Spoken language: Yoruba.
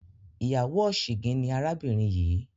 ìyáwó ọ̀sìngín ni arábìnrin yìí.